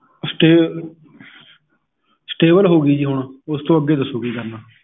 Stay stable ਹੋਗੀ ਜੀ ਹੁਣ ਉਸ ਤੋਂ ਅਗੇ ਦਸੋ ਕੀ ਕਰਨਾ?